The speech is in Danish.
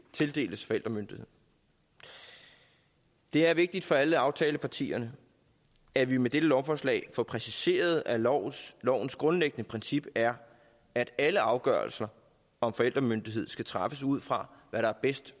tildeles forældremyndigheden det er vigtigt for alle aftalepartierne at vi med dette lovforslag får præciseret at lovens lovens grundlæggende princip er at alle afgørelser om forældremyndighed skal træffes ud fra hvad der bedst